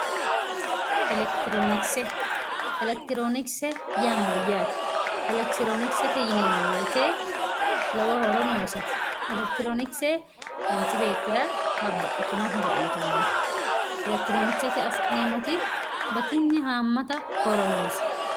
Elekitironkise, elekitironkise yaa mayyate ,elekitironkisete yineemmo woyte lowo horo noosete, elekitironkise manchi beettira babbaxxitino horo uyittano ,elekitironkisete affi'neemmoti batinye hamatta horo noose.